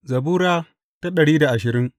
Zabura Sura dari da ashirin